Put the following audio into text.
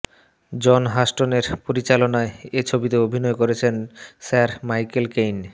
জন হাস্টনের পরিচালনায় এ ছবিতে অভিনয় করেছিলেন স্যার মাইকেল কেইন